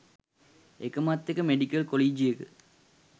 එකමත් එක මෙඩිකල් කොලීජියක